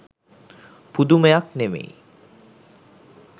පුදමයක් නෙමෙයි.